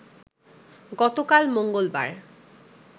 গতকাল মঙ্গলবার